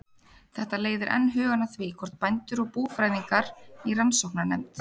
Þetta leiðir enn hugann að því, hvort bændur og búfræðingar í rannsóknarnefnd